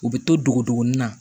U bɛ to dogo duguni na